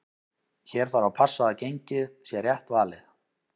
Hér þarf að passa að gengið sé rétt valið.